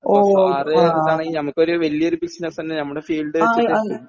അപ്പോ സാറ് ഞമ്മക്കൊരു വല്ല്യ ഒരു ബിസിനസ്സന്നെ നമ്മുടെ ഫീൽഡ് വെച്ചിട്ട്